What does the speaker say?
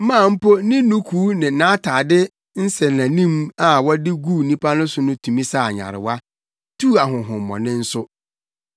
maa mpo ne nnukuu ne nʼatade nsɛnanim a wɔde guu nnipa so no tumi saa nyarewa, tuu ahonhommɔne nso.